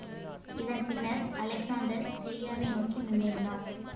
இதன்பின்னர் அலெக்ஸாண்டர் சிரியாவை நோக்கி முன்னேறினார்